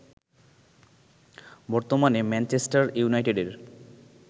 বর্তমানে ম্যানচেস্টার ইউনাইটেডের